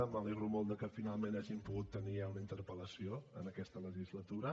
m’alegro molt que finalment hàgim pogut tenir ja una interpel·lació en aquesta legislatura